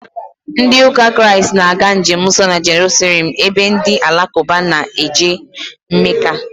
Ndị ụka Kraịst na-aga njemnsọ na Jeruselem ebe ndị alakụba na-eje Meka